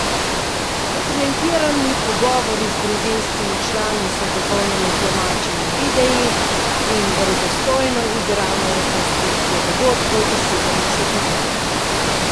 Dokumentirani pogovori z družinskimi člani so dopolnjeni z domačimi videi in verodostojno igrano rekonstrukcijo dogodkov iz sedemdesetih let.